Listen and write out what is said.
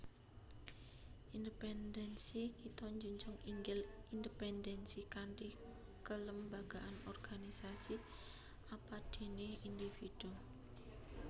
Independensi Kita njunjung inggil independensi kanthi kelembagaan organisasi apadéné individu